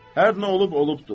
Hər nə olub olubdur.